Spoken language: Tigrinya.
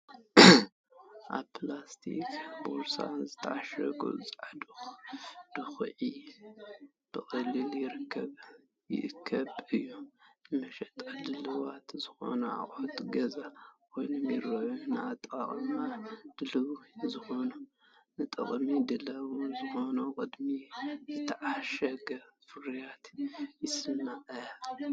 ኣብ ፕላስቲክ ቦርሳታት ዝተዓሸገ ጻዕዳ ዱኹዒ ብቐሊሉ ይርከብን ይእከብን እዩ። ንመሸጣ ድሉዋት ዝኾኑ ኣቑሑት ገዛ ኮይኖም ይረኣዩ፤ ንኣጠቓቕማ ድሉው ዝኾነ፡ ንጥቕሚ ድሉው ዝኾነ ቅድሚኡ ዝተዓሸገ ፍርያት ይስመዓካ።